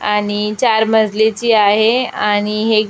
आणि चार मजलीची आहे आणि हे--